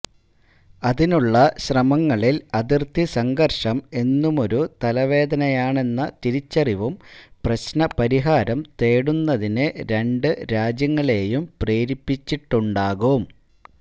അതിനുള്ള ശ്രമങ്ങളില് അതിര്ത്തി സംഘര്ഷം എന്നുമൊരു തലവേദനയാണെന്ന തിരിച്ചറിവും പ്രശ്നപരിഹാരം തേടുന്നതിന് രണ്ടു രാജ്യങ്ങളേയും പ്രേരിപ്പിച്ചിട്ടുണ്ടാകും